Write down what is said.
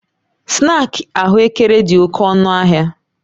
Snaakị ahụekere dị oke ọnụ ahịa